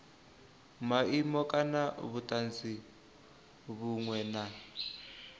maimo kana vhutanzi vhunwe na